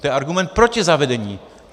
To je argument proti zavedení.